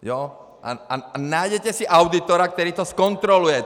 A najděte si auditora, který to zkontroluje!